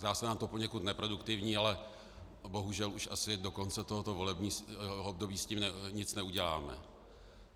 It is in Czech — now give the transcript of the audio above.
Zdá se nám to poněkud neproduktivní, ale bohužel už asi do konce tohoto volebního období s tím nic neuděláme.